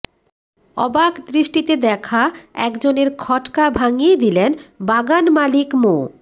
অবাক দৃষ্টিতে দেখা একজনের খটকা ভাঙ্গিয়ে দিলেন বাগান মালিক মো